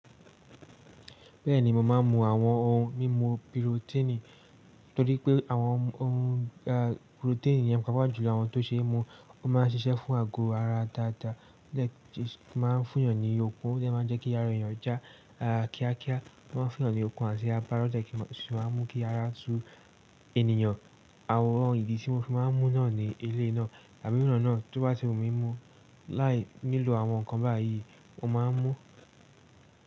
Bẹ́ẹ̀ni, mo máa ń mu àwọn ohun mímu pirotíìnì torí pé àwọn ohun pirotíìnì yẹn papọ̀ jùlọ àwọn tó ṣe é mu. Ó máa ń ṣiṣẹ́ fún àgọ́ ara dáadáa, ó jẹ́ máa ń fún yàn ní okun, ó dẹ́ máa ń jẹ́ kí ara èèyàn já kíákíá, ó máa ń fún yàn ní okun àti agbará, ó dẹ́ kí èso máa mú kí ara su ènìyàn. Àwọn ohun ìdí tí mo fi máa ń mú náà ni eléèinà àbí ironà náà tó bá ti wu mímu. Láì nílò àwọn nǹkan báyìí mo máa ń mú.